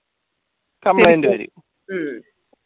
complaint വരും